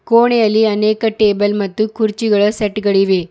ಕೋಣೆಯಲ್ಲಿ ಅನೇಕ ಟೇಬಲ್ ಮತ್ತು ಕುರ್ಚಿಗಳ ಸೆಟ್ಗಳಿವೆ.